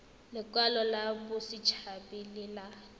lekwalo la botshabi le ya